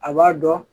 A b'a dɔn